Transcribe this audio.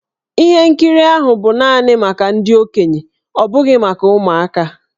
Ihe nkiri ahụ bụ naanị maka ndị okenye ọ bụghị maka ụmụaka.